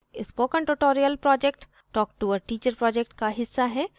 spoken tutorial project talktoa teacher project का हिस्सा है